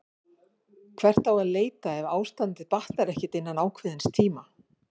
Hvert á að leita ef ástandið batnar ekki innan ákveðins tíma?